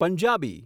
Punjabi